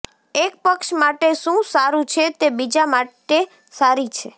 એક પક્ષ માટે શું સારું છે તે બીજા માટે સારી છે